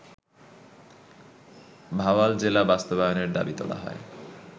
ভাওয়াল জেলা বাস্তবায়নের দাবি তোলা হয়